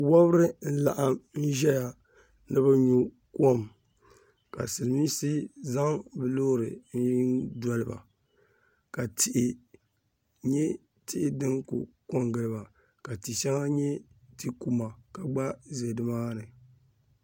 Wɔbiri n-laɣim n-ʒɛya ni bɛ nyu kom ka silimiinsi zaŋ bɛ loori n-doli ba ka tihi nyɛ tihi din kuli ko n-ɡili ba ka ti' shɛŋa nyɛ ti' kuma ka ɡba za nimaani